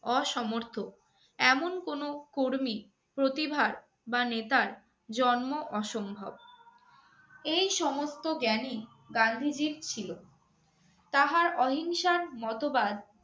অসমর্থ এমন কোনো কর্মী প্রতিভার বা নেতার জন্ম অসম্ভব। এই সমস্ত জ্ঞানই গান্ধীজীর ছিল। তাহার অহিংসার মতবাদ